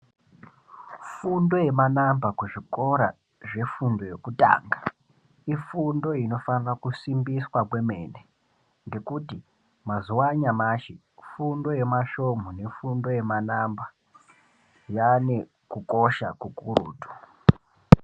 Fundo yemanamba kuzvikora zvefundo yekutanga ifundo inofana kusimbiswa kwemene ngekuti mazuwa anyamashi fundo yema svomhu ne fundo yema namba yanekukosha kukurutu.